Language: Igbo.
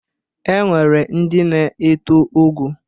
E nwere ndị na-eto ogo.